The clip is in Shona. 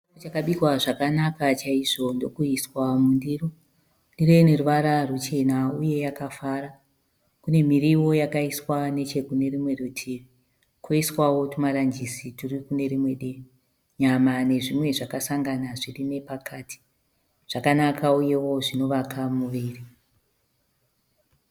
Chakabikwa zvakanaka chaizvo ndokuiswa mundiro. Ndiro ine ruvara rwuchena uye yakafara. Kune mirivo yakaiswa nechekune rumwe rutivi, koiswawo tumaranjisi turi kune rimwe divi. Nyama nezvimwe zvakasangana zviri nepakati. Zvakanakawo uye zvinovaka muviri.